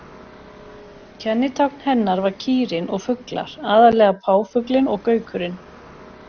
Kennitákn hennar var kýrin og fuglar, aðallega páfuglinn og gaukurinn.